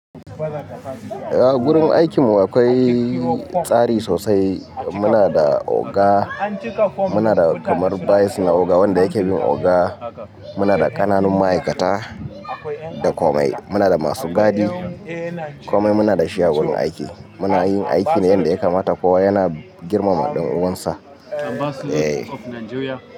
Eh, gurin aikin mu akwai tsari sosai. Muna da oga, muna da kamar vice na oga wanda yake bin oga, muna da ƙananun ma'aikata da komai. Muna da masu gadi, komai. Muna da shi a wurin aiki. Muna yin aiki ne yanda ya kamata ko yana girmama ɗan uwansa. Eh.